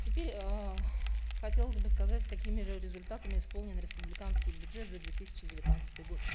тепрь эээ хотелось бы сказать с какими же результатами исполнен республиканский бюджет за две тысячи девятнадцатый год